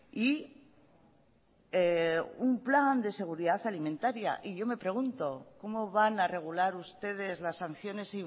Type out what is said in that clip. y un plan de seguridad alimentaria y yo me pregunto cómo van a regular ustedes las sanciones